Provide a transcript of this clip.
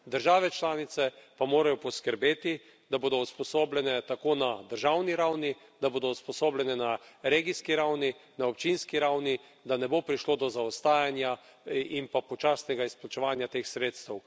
Države članice pa morajo poskrbeti, da bodo usposobljene tako na državni ravni, da bodo usposobljene na regijski ravni, na občinski ravni, da ne bo prišlo do zaostajanja in pa počasnega izplačevanja teh sredstev.